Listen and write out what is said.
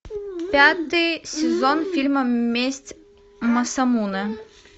пятый сезон фильма месть масамунэ